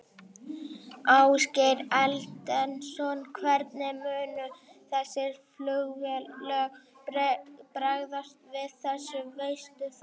Ásgeir Erlendsson: Hvernig munu þessi flugfélög bregðast við þessu, veistu það?